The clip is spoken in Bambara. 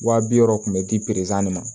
Wa bi wɔɔrɔ kun bɛ di ma